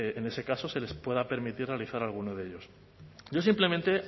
en ese caso se les pueda permitir realizar a algunos de ellos yo simplemente